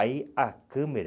Aí, a câmera...